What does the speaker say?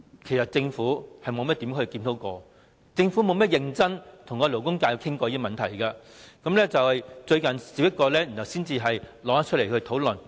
其間政府沒有進行甚麼檢討，也不曾認真地跟勞工界討論有關問題，到最近才提出來討論。